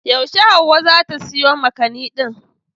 Yaushe Hauwa za ta soya makani din?